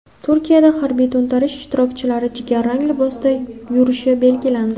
Turkiyada harbiy to‘ntarish ishtirokchilari jigarrang libosda yurishi belgilandi.